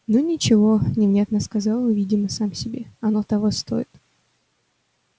ну ничего невнятно сказал он видимо сам себе оно того стоит